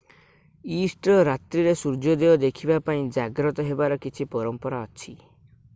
Easter ରାତ୍ରିରେ ସୂର୍ଯ୍ୟୋଦୟ ଦେଖିବା ପାଇଁ ଜାଗ୍ରତ ହେବାର କିଛି ପରମ୍ପରା ଅଛି